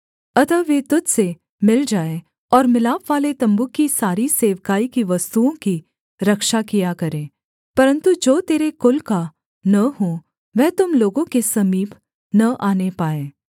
अतः वे तुझ से मिल जाएँ और मिलापवाले तम्बू की सारी सेवकाई की वस्तुओं की रक्षा किया करें परन्तु जो तेरे कुल का न हो वह तुम लोगों के समीप न आने पाए